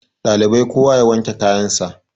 ɗalibai kowa ya wanke kayansa